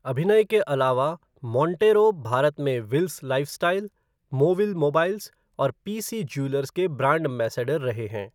अभिनय के अलावा, मोंटेरो भारत में विल्स लाइफ़स्टाइल, मोविल मोबाइल्स और पीसी ज्यूलर्स के ब्रांड एंबेसडर रहे हैं।